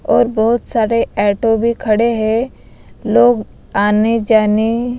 और बहुत सारे एटो भी खड़े हैं लोग आने जाने--